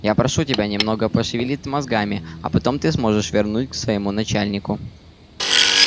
я прошу тебя немного пошевелить мозгами а потом ты сможешь вернуть к своему начальнику